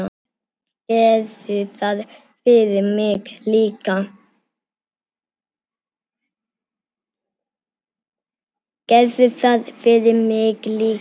Gerðu það fyrir mig líka.